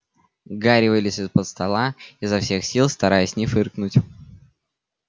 гарри вылез из-под стола изо всех сил стараясь не фыркнуть